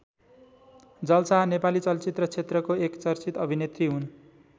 जल शाह नेपाली चलचित्र क्षेत्रको एक चर्चित अभिनेत्री हुन्।